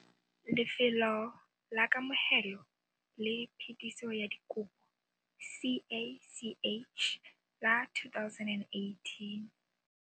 Lefelo la Kamogelo le Phetiso ya Dikopo, CACH, la 2018.